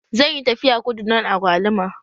Zan yi tafiya kudu don agwaluma